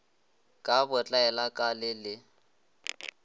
ka botlaela ka le le